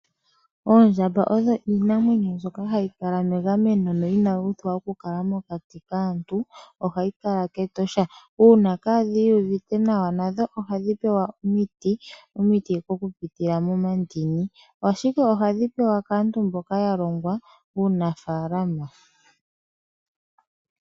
Oondjamba odho iinamwenyo mbyoka hayi kala megameno, no inayi uthwa oku kala mokati kaantu. Ohayi kala kEtosha. Uuna kadhi uvite nawa nadho ohadhi pewa omiti, omiti oku pitila momandini. Ashike ohadhi pewa kaantu mboka ya longwa uunafaalama.